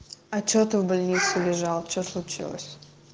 а что ты в больнице лежал что случилось